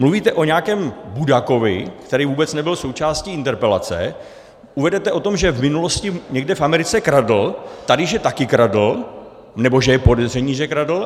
Mluvíte o nějakém Budakovi, který vůbec nebyl součástí interpelace, uvedete o tom, že v minulosti někde v Americe kradl, tady že taky kradl nebo že je podezření, že kradl.